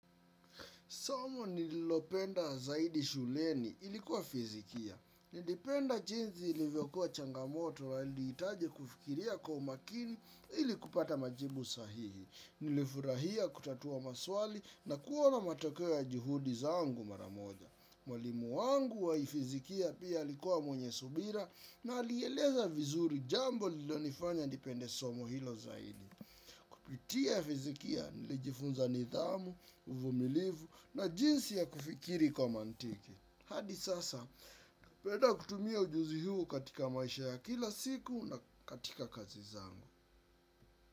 Somo nililopenda zaidi shuleni ilikuwa fizikia. Ningependa jinsi ilivyokuwa changamoto la iliitaje kufikiria kwa makini ili kupata majibu sahihi. Nilifurahia kutatua maswali na kuona matokeo juhudi zangu maramoja. Mwalimu wangu wa fizikia pia likuwa mwenye subira na alieleza vizuri jamboililonifanya nipende somo hilo zaidi. Kupitia fizikia nilijifunza nidhamu, uvmilivu na jinsi ya kufikiri kwa mantiki. Hadi sasa, napeda kutumia ujuzi huo katika maisha ya kila siku na katika kazi zangu.